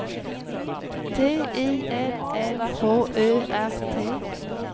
T I L L H Ö R T